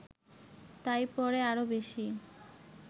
তাই পরে আরও বেশি